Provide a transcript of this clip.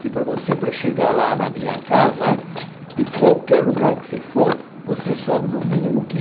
Que para você, para chegar lá na minha casa, de qualquer lugar que você for, você sobe no mínimo